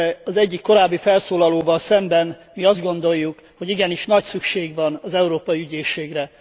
Az egyik korábbi felszólalóval szemben mi azt gondoljuk, hogy igenis nagy szükség van az Európai Ügyészségre.